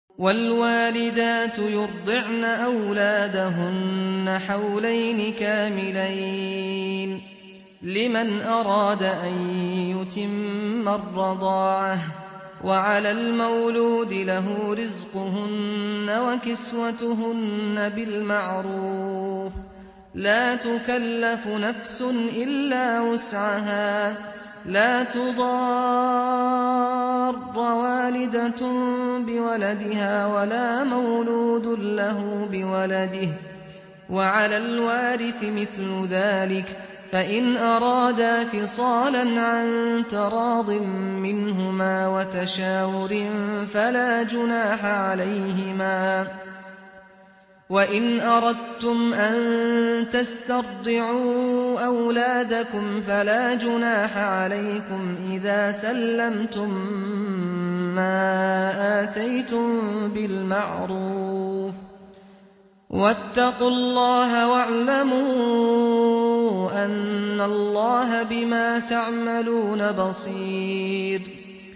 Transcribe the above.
۞ وَالْوَالِدَاتُ يُرْضِعْنَ أَوْلَادَهُنَّ حَوْلَيْنِ كَامِلَيْنِ ۖ لِمَنْ أَرَادَ أَن يُتِمَّ الرَّضَاعَةَ ۚ وَعَلَى الْمَوْلُودِ لَهُ رِزْقُهُنَّ وَكِسْوَتُهُنَّ بِالْمَعْرُوفِ ۚ لَا تُكَلَّفُ نَفْسٌ إِلَّا وُسْعَهَا ۚ لَا تُضَارَّ وَالِدَةٌ بِوَلَدِهَا وَلَا مَوْلُودٌ لَّهُ بِوَلَدِهِ ۚ وَعَلَى الْوَارِثِ مِثْلُ ذَٰلِكَ ۗ فَإِنْ أَرَادَا فِصَالًا عَن تَرَاضٍ مِّنْهُمَا وَتَشَاوُرٍ فَلَا جُنَاحَ عَلَيْهِمَا ۗ وَإِنْ أَرَدتُّمْ أَن تَسْتَرْضِعُوا أَوْلَادَكُمْ فَلَا جُنَاحَ عَلَيْكُمْ إِذَا سَلَّمْتُم مَّا آتَيْتُم بِالْمَعْرُوفِ ۗ وَاتَّقُوا اللَّهَ وَاعْلَمُوا أَنَّ اللَّهَ بِمَا تَعْمَلُونَ بَصِيرٌ